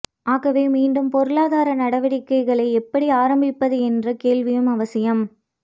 ஆகவே மீண்டும் பொருளாதார நடவடிக்கைகளை எப்படி ஆரம்பிப்பது என்ற கேள்வியும் அவசியம்